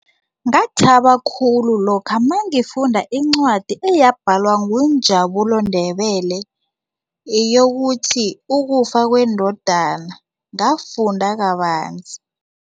Ngathaba khulu lokha nangifunda incwadi eyabhadalwa nguNjabulani Ndebele eyokuthi ukufa kwendodana ngafunda kabanzi.